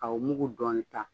Ka o mugu dɔɔnin ta